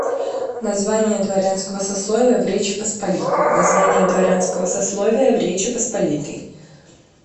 название дворянского сословия в речи посполитой название дворянского сословия в речи посполитой